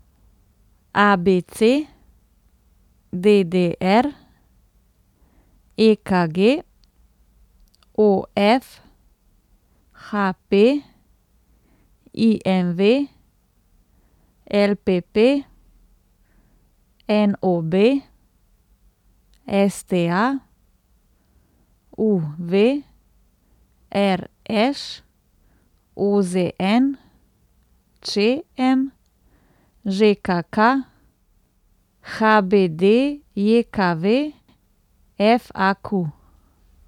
A B C; D D R; E K G; O F; H P; I M V; L P P; N O B; S T A; U V; R Š; O Z N; Č M; Ž K K; H B D J K V; F A Q.